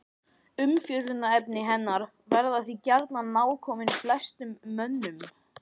Umfjöllunarefni hennar verða því gjarnan nákomin flestum mönnum.